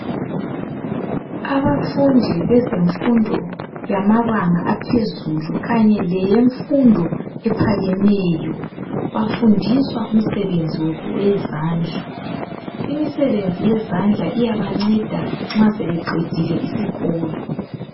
Abafundi bezemfundo yamabanga yaphezulu kanye leyemfundo ephakemeyo bafundiswa imisebenzi yezandla. Imisebenzi yezandla iyabanceda nxa sebeqedile isikolo.